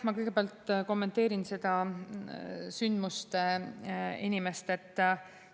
Ma kõigepealt kommenteerin seda sündmuste inimest.